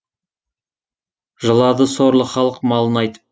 жылады сорлы халық малын айтып